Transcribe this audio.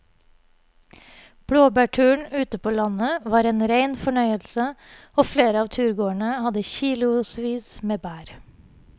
Blåbærturen ute på landet var en rein fornøyelse og flere av turgåerene hadde kilosvis med bær.